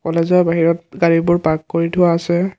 কলেজৰ বাহিৰত গাড়ীবোৰ পাৰ্ক কৰি থোৱা আছে।